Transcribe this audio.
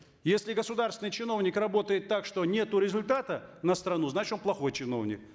если государственный чиновник работает так что нету результата на страну значит он плохой чиновник